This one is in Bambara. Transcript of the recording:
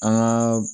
An ka